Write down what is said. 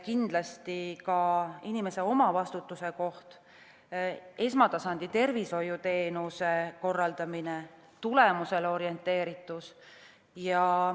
Kindlasti ka inimese omavastutus, esmatasandi tervishoiuteenuste korraldamine, tulemusele orienteeritus.